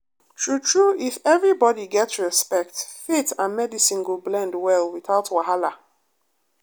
true true if everybody get respect faith and medicine go blend well without wahala.